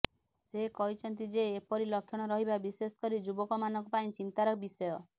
ସେ କହିଛନ୍ତି ଯେ ଏପରି ଲକ୍ଷଣ ରହିବା ବିଶେଷକରି ଯୁବକମାନଙ୍କ ପାଇଁ ଚିନ୍ତାର ବିଷୟ